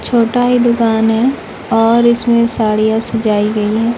छोटा ही दुकान है और इसमें साड़ियां सजाई गई --